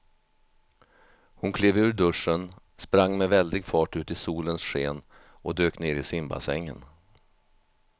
Hon klev ur duschen, sprang med väldig fart ut i solens sken och dök ner i simbassängen.